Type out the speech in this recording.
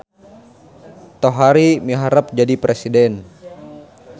Tohari miharep jadi presiden